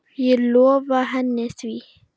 Ég lofaði henni því.